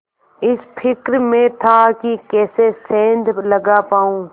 इस फिक्र में था कि कैसे सेंध लगा पाऊँ